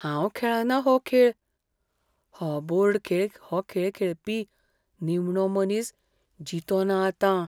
हांव खेळना हो खेळ . हो बोर्ड खेळ हो खेळ खेळपी निमणो मनीस जितो ना आतां.